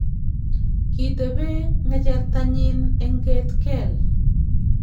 kitebe ng'echertanyin eng ket keel